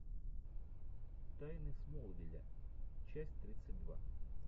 тайны смолвиля часть тридцать два